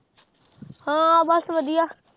ਹਾਂ ਬਸ ਵਧੀਆ